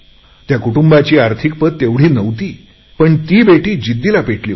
त्या कुटुंबाची आर्थिक पत तेवढी नव्हती पण ती मुलगी जिद्दीला पेटली होती